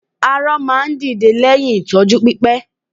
Arọ máa dìde lẹ́yìn ìtọ́jú pípé